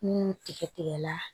Ni tigɛ tigɛra